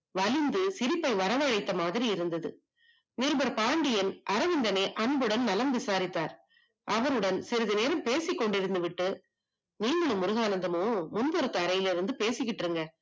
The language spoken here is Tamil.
வழிந்து சிரிப்பை வர வைத்து மாதிரி இருந்தது நிருபர் பாண்டியன் அரவிந்தினி அன்புடன் நலம் விசாரித்தார் அவருடன் சிறிது நேரம் பேசிக் கொண்டிருந்து விட்டு மீண்டும் முருகானந்தமும் முன்புறத்த அறையில் இருந்து பேசிக்கிட்டு இருங்க